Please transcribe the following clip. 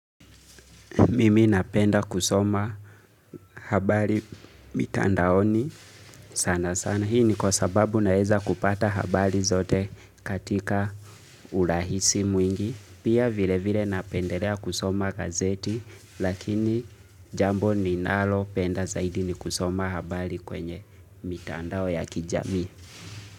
Mimi napenda kusoma habari mitandaoni sana sana. Hii ni kwa sababu naeza kupata habari zote katika urahisi mwingi. Pia vile vile napendelea kusoma gazeti. Lakini jambo ninalopenda zaidi ni kusoma habari kwenye mitandao ya kijamii.